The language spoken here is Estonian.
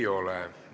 Ei ole.